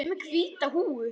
Ég er með hvíta húfu.